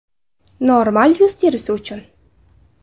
Normal yuz terisi uchun .